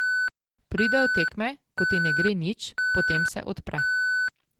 Pridejo tekme, ko ti ne gre nič, potem se odpre.